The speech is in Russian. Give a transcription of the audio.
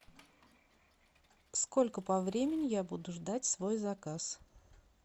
сколько по времени я буду ждать свой заказ